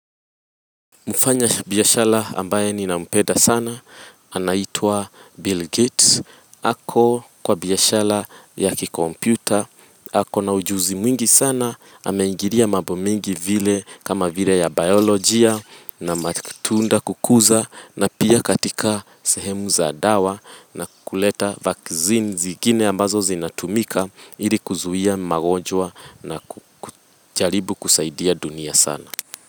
Mfanyabiashara ambaye ninampenda sana, anaitwa Bill Gates, ako kwa biashara ya kikompyuta, ako na ujuzi mwingi sana, ameingilia mambo mengi vile kama vile ya biolojia na matunda kukuza na pia katika sehemu za dawa na kuleta vaccine zingine ambazo zinatumika ili kuzuia magonjwa na ku kujaribu kusaidia dunia sana.